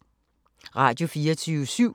Radio24syv